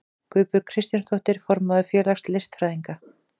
Guðbjörg Kristjánsdóttir, formaður félags listfræðinga.